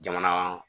Jamana